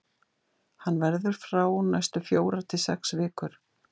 Hann verður frá næstu fjórar til sex vikur.